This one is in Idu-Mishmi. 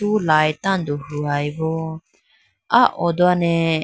pru light tando huwayi boo aa oo done.